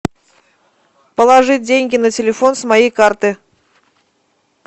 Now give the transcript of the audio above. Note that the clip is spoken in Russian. положить деньги на телефон с моей карты